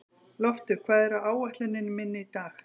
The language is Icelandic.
Loftur, hvað er á áætluninni minni í dag?